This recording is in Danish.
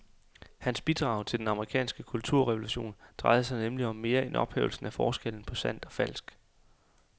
Hans bidrag til den amerikanske kulturrevolution drejede sig nemlig om mere end ophævelsen af forskellen på sandt og falsk.